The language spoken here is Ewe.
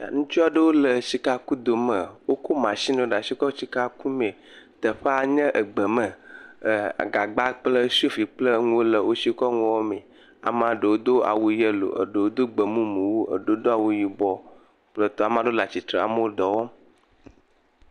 Ŋutsu aɖewo le sikakudo me. Woko mashini ɖe asi kɔ le sika kum. Teƒea nye gbeme. Gagba kple sofi kple nuwo le wosi wokɔ le nuwo wɔm. Ame ɖewo do awu yellow, eɖewo do gbemumu eye ɖewo do awu yibɔ kple tɔwo. Ame aɖewo le atsitre eɖewo le dɔ wɔm.